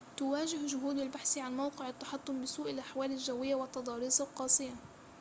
تُواجَه جهود البحث عن موقع التحطم بسوء الأحوال الجوية والتضاريس القاسية